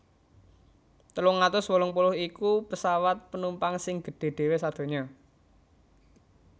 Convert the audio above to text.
telung atus wolung puluh iku pesawat penumpang sing gedhé dhéwé sadonya